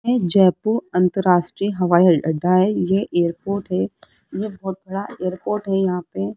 यह जयपुर अंतरराष्ट्रीय हवाई अड्डा है ये एयरपोर्ट है ये बहोत बड़ा एयरपोर्ट है यहां पे।